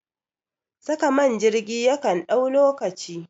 Saka man jirgi yakan ɗau lokaci